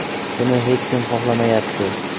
Buni hech kim xohlamayapti.